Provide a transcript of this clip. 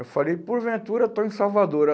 Eu falei, por ventura estou em Salvador.